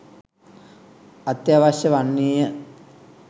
අත්‍යවශ්‍ය වන්නේය